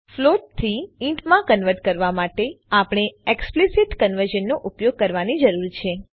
float થી int માં convert કરવા માટે આપણે એક્સપ્લીસીટ કન્વર્ઝનનો ઉપયોગ કરવાની જરૂર છે